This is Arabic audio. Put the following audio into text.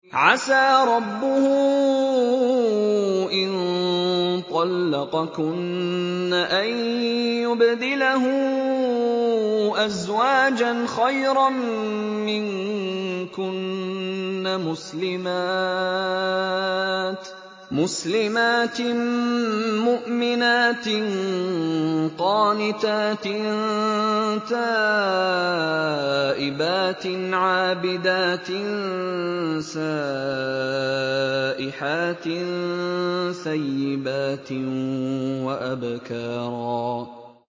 عَسَىٰ رَبُّهُ إِن طَلَّقَكُنَّ أَن يُبْدِلَهُ أَزْوَاجًا خَيْرًا مِّنكُنَّ مُسْلِمَاتٍ مُّؤْمِنَاتٍ قَانِتَاتٍ تَائِبَاتٍ عَابِدَاتٍ سَائِحَاتٍ ثَيِّبَاتٍ وَأَبْكَارًا